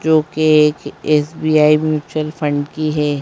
जो कि इस एस_बी_आई म्यूचुअल फंड की है।